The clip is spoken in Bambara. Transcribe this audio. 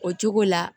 O cogo la